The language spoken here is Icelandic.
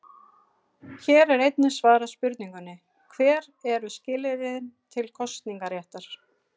Hér er einnig svarað spurningunni: Hver eru skilyrðin til kosningaréttar?